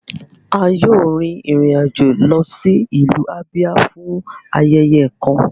A yoo rin irin ajo lọ si ilu Abia fun ayẹyẹ kan